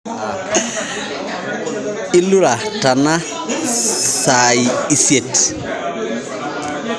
Ilura tana saai isiet